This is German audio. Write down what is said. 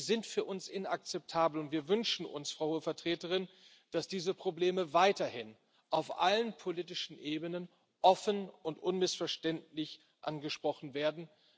sind für uns inakzeptabel, und wir wünschen uns, Frau Hohe Vertreterin, dass diese Probleme weiterhin auf allen politischen Ebenen offen und unmissverständlich angesprochen werden.